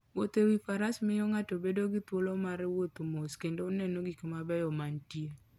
Wuotho e wi faras miyo ng'ato bedo gi thuolo mar wuotho mos kendo neno gik mabeyo mantie.